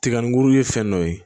Tigaburu ye fɛn dɔ ye